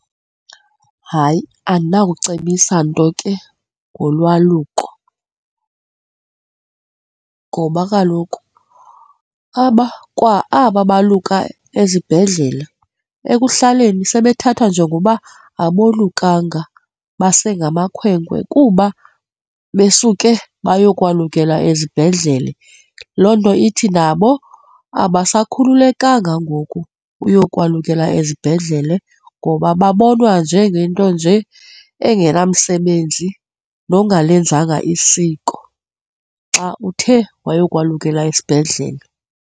Hayi, andinakucebisa nto ke ngolwaluko ngoba kaloku aba kwa aba baluka ezibhedlele, ekuhlaleni sebethathwa njekungoba abolukanga, basengamakhwenkwe kuba besuke bayokwalukela ezibhedlele, loo nto ithi nabo abasakhululekanga ngoku uyokwaluka ezibhedlele ngoba babonwa njengento nje engenamsebenzi nongalenzanga isiko, xa uthe wayokukwalukela esibhedlele.